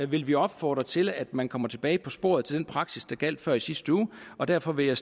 vil vi opfordre til at man kommer tilbage på sporet til den praksis der gjaldt før i sidste uge og derfor vil jeg